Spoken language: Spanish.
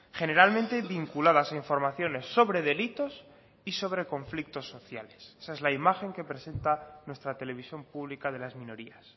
generalmente vinculadas a informaciones sobre delitos y sobre conflictos sociales esa es la imagen que presenta nuestra televisión pública de las minorías